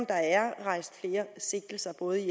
der er rejst flere sigtelser både i